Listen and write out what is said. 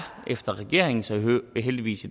efter regeringens og heldigvis